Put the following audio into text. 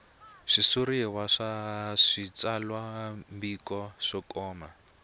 switshuriwa swa switsalwambiko swo koma